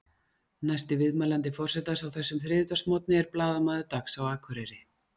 Næsti viðmælandi forsetans á þessum þriðjudagsmorgni er blaðamaður Dags á Akureyri.